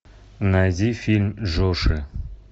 найди фильм джоши